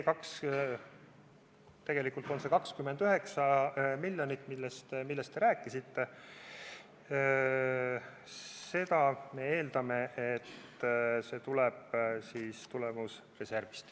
Tegelikult need 29 miljonit, millest te rääkisite – me eeldame, et see raha tuleb tulemusreservist.